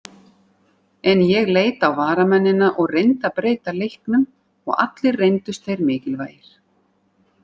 En ég leit á varamennina og reyndi að breyta leiknum og allir reyndust þeir mikilvægir.